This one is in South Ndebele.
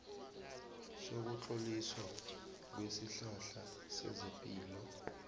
sokutloliswa kwesihlahla sezelimo